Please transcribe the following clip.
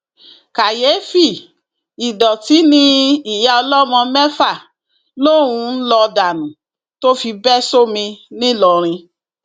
kàyééfì ìdọtí ni ìyá ọlọmọ mẹfà lòún ń lọọ dànù tó fi bẹ sómi ńìlọrin